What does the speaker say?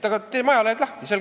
Teeme ajalehed lahti!